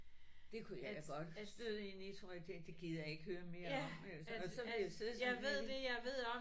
Det kunne jeg godt støde ind i tror jeg det det gider jeg ikke høre mere om og og så vil jeg sidde sådan her